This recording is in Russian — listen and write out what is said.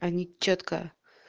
они чётко